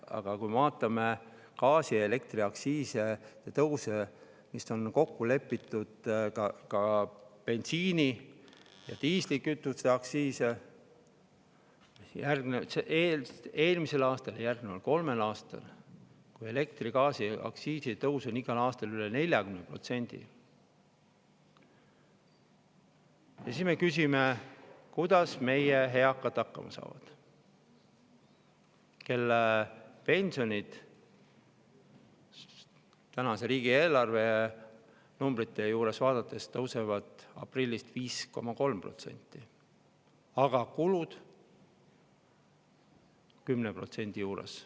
Aga kui me vaatame gaasi‑ ja elektriaktsiisi tõusu, mis on kokku lepitud, ka bensiini‑ ja diislikütuseaktsiisi aastal ja järgneval kolmel aastal, kui elektriaktsiisi tõus on igal aastal üle 40%, siis me küsime, kuidas saavad hakkama meie eakad, kelle pensionid riigieelarve numbreid vaadates tõusevad aprillist 5,3%, aga kulude on 10% juures.